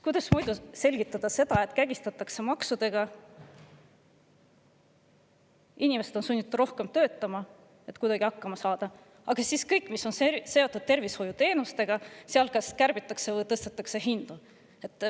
Kuidas muidu selgitada seda, et kägistatakse maksudega ja inimesed on sunnitud rohkem töötama, et kuidagi hakkama saada, aga kõike seda, mis on seotud tervishoiuteenustega, kas kärbitakse või seal tõstetakse hindu?